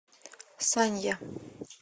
санья